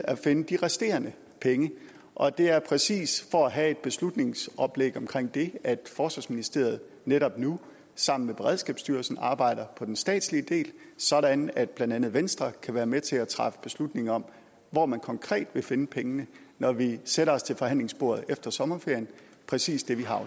at finde de resterende penge og det er præcis for at have et beslutningsoplæg omkring det at forsvarsministeriet netop nu sammen med beredskabsstyrelsen arbejder på den statslige del sådan at blandt andet venstre kan være med til at træffe beslutning om hvor man konkret vil finde pengene når vi sætter os til forhandlingsbordet efter sommerferien præcis det vi har